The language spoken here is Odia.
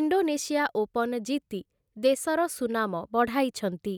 ଇଣ୍ଡୋନେସିଆ ଓପନ ଜିତି ଦେଶର ସୁନାମ ବଢ଼ାଇଛନ୍ତି ।